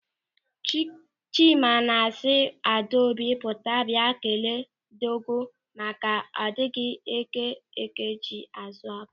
Chima na-asị Adaobi pụta bịa kelee ndịọgọ maka a dịghị eke oké ji n'azụ ọba.